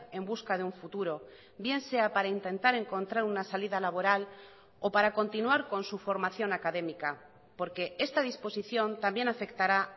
en busca de un futuro bien sea para intentar encontrar una salida laboral o para continuar con su formación académica porque esta disposición también afectará